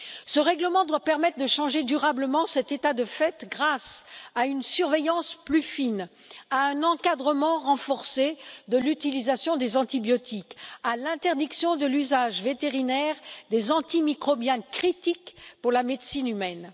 Ce règlement doit permettre de changer durablement cet état de fait grâce à une surveillance plus fine, à un encadrement renforcé de l'utilisation des antibiotiques, à l'interdiction de l'usage vétérinaire des antimicrobiens d'importance critique pour la médecine humaine.